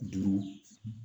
Duuru